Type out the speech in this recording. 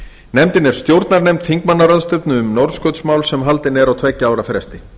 nefndin er stjórnarnefnd þingmannaráðstefnu um norðurskautsmál sem haldin er á tveggja ára fresti